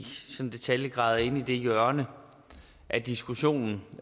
detaljer er inde i det hjørne af diskussionen